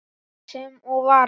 Sem og varð.